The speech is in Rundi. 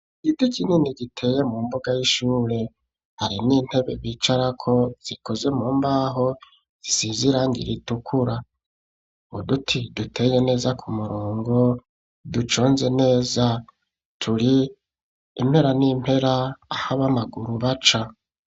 Igiti kinini giteye mu mbuga y'ishure, hari n'intebe bicarako zikoze mu mbaho zisize irangi ritukura uduti duteye neza ku murongo duconze neza turi impera n'impera aha bamaguru baca.